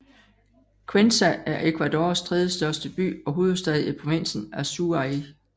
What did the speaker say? Cuenca er Ecuadors tredjestørste by og hovedstad i provinsen Azuay